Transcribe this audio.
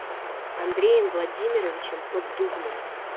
андреем владимировичем поддубным